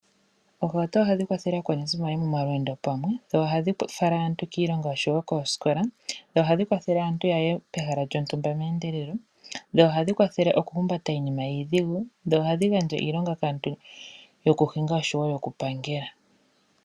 Ohauto ohadhi kwathele aakwanezimo yaye momalweendo pamwe dho ohadhi fala aantu kiilonga oshowo koosikola. Ohadhi kwathele aantu yaye pehala lyontumba noku kwathela aantu ya vule okuhumbata iinima iidhigu. Ohadhi gandja iilonga kaantu yokuhinga oshowo okupangela.